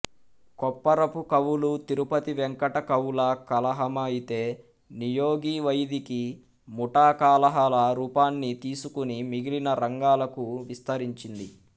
కొప్పరపు కవులు తిరుపతి వేంకట కవుల కలహమయితే నియోగి వైదీకి ముఠాకలహాల రూపాన్ని తీసుకుని మిగిలిన రంగాలకూ విస్తరించింది